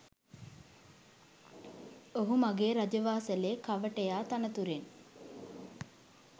ඔහු මගේ රජවාසලේ කවටයා තනතුරෙන්